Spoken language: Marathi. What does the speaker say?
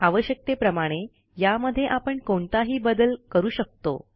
आवश्यकतेप्रमाणे यामध्ये आपण कोणताही बदल करू शकतो